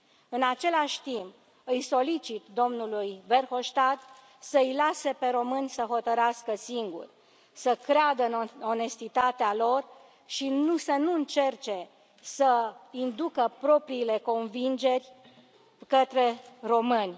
În același timp, îi solicit domnului Verhofstadt să îi lase pe români să hotărască singuri, să creadă în onestitatea lor și să nu încerce să inducă propriile convingeri către români.